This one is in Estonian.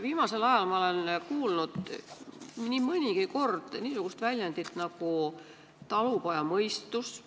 Viimasel ajal olen ma nii mõnigi kord kuulnud niisugust sõna nagu "talupojamõistus".